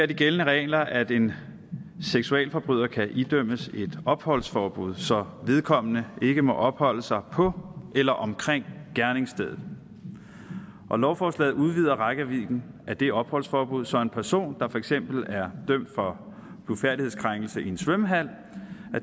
de gældende regler at en seksualforbryder kan idømmes et opholdsforbud så vedkommende ikke må opholde sig på eller omkring gerningsstedet lovforslaget udvider rækkevidden af det opholdsforbud så en person der for eksempel er dømt for blufærdighedskrænkelse i en svømmehal